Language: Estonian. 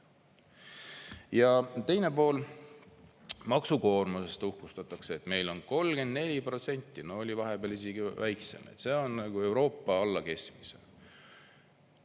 Ja teine pool, maksukoormusest uhkustatakse, et meil on 34%, no oli vahepeal isegi väiksem, see on Euroopa alla keskmise.